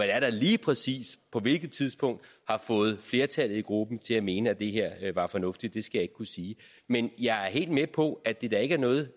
er der lige præcis på hvilket tidspunkt har fået flertallet i gruppen til at mene at det her er fornuftigt skal jeg ikke kunne sige men jeg er helt med på at det da ikke er noget